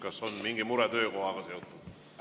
Kas on mingi mure töökohaga seotud?